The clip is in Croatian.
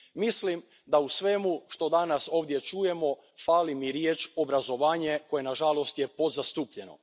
Mislim da u svemu što danas ovdje čujemo fali riječ obrazovanje koja je, nažalost, podzastupljena.